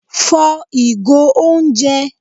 fò igò oúnjẹ!